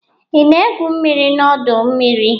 Ị na-egwu mmiri n'ọdọ mmiri?